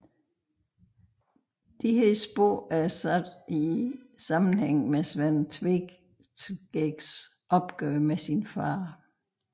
Disse spor er sat i sammenhæng med Sven Tveskægs opgør med sin fader